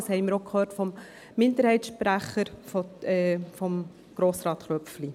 Dies haben wir auch vom Minderheitssprecher, Grossrat Köpfli, gehört.